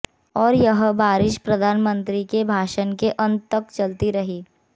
और यह बारिश प्रधानमंत्री के भाषण के अंत तक चलती रही